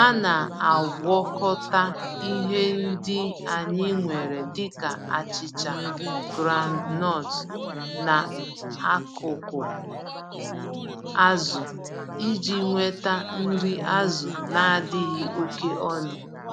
Ana-agwakọta ihe ndị anyị nwere dịka achicha groundnut na akụkụ azụ iji nweta nri azụ nadịghị oké ọnụ.